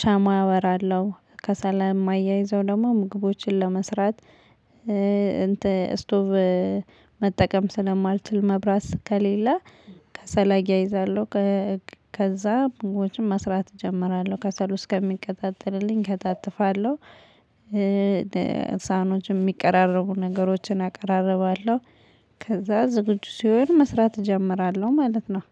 ሻማ አበራለሁ ከሰል የማያይዘው ደግሞ ምግቦችን ለመስራት። ስቶቭ መጠቀም ስለማልችል መብራት ከሌለ ከሰል አያይዛለሁ። ከዛ ምግቦችን መስራት እጀምራለሁ ከሰሉ እስከሚቀጣጠልልኝ እከታትፋለሁ። ሳህኖችን የሚቀራረቡ ነገሮችን አቀራርባለሁ። ከዛ ዝግጁ ሲሆን መስራት እጀምራለሁ ማለት ነው።